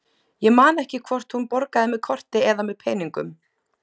Ég man ekki hvort hún borgaði með korti eða með peningum.